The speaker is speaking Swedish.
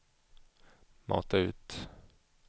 mata ut